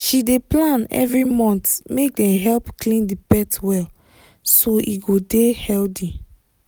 she dey plan every month make dem help clean the pet well so e go dey healthy